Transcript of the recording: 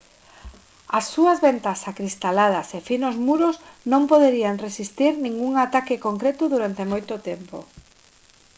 as súas ventás acristaladas e finos muros non poderían resistir ningún ataque concreto durante moito tempo